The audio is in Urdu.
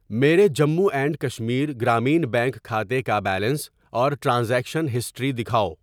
میرے جموں اینڈ کشمیر گرامین بینک کھاتے کا بیلنس اور ٹرانزیکشن ہسٹری دکھاؤ۔